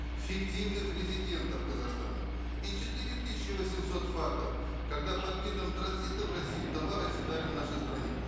фиктивных резидентов казахстана и четыре тысячи восемьсот фактов когда под видом транзита в россию товары оседали в нашей стране